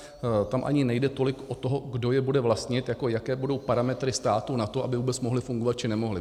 Tam ani nejde tolik o to, kdo je bude vlastnit, jako jaké budou parametry státu na to, aby vůbec mohly fungovat, či nemohly.